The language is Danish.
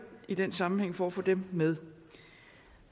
i den sammenhæng for at få dem med